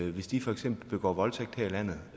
at hvis de for eksempel begår voldtægt her i landet